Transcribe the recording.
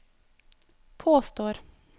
påstår